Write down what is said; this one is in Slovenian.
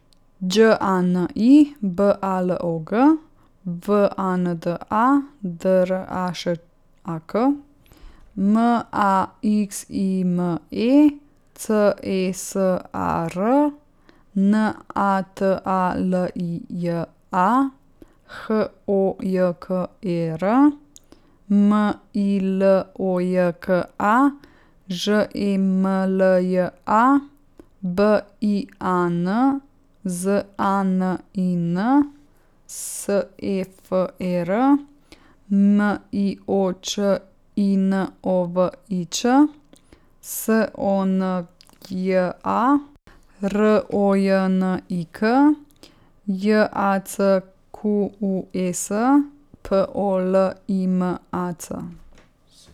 Đ A N I, B A L O G; W A N D A, D R A Š A K; M A X I M E, C E S A R; N A T A L I J A, H O J K E R; M I L O J K A, Ž E M L J A; B I A N, Z A N I N; S E F E R, M I O Č I N O V I Ć; S O N Y A, R O J N I K; J A C Q U E S, P O L I M A C.